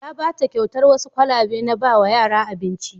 Ya ba ta kyautar wasu kwalabe na ba wa yara abinci.